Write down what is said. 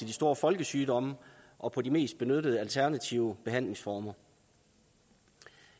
de store folkesygdomme og på de mest benyttede alternative behandlingsformer